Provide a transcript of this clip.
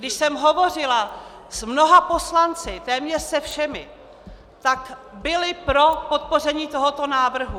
Když jsem hovořila s mnoha poslanci, téměř se všemi, tak byli pro podpoření tohoto návrhu.